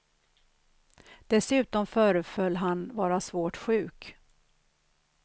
Dessutom föreföll han vara svårt sjuk.